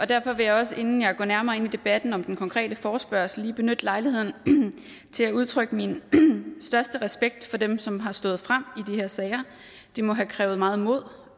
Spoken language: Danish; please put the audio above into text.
derfor vil jeg også inden jeg går nærmere ind i debatten om den konkrete forespørgsel lige benytte lejligheden til at udtrykke min største respekt for dem som har stået frem i de her sager det må have krævet meget mod